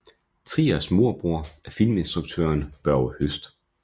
Triers morbror er filminstruktøren Børge Høst